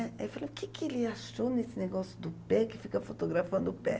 Aí eu falei, o que que ele achou nesse negócio do pé, que fica fotografando o pé?